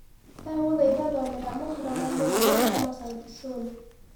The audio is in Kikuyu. ndagũthaitha thomera mohoro ma mũthia kũũma sauti sol